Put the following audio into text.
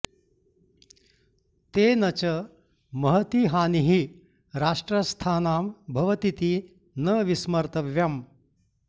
तेन च महती हानिः राष्ट्रस्थानां भवतीति न विस्मर्तव्यम्